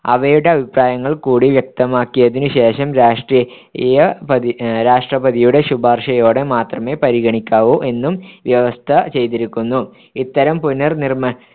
അവയുടെ അഭിപ്രായങ്ങൾ കൂടി വ്യക്തമാക്കിയതിനു ശേഷം രാഷ്ട്രീയപതി രാഷ്ട്രപതിയുടെ ശുപാർശയോടെ മാത്രമെ പരിഗണിക്കാവൂ എന്നും വ്യവസ്ഥ ചെയ്തിരിക്കുന്നു ഇത്തരം പുനർനിർ‌ണ്ണമ്മാണ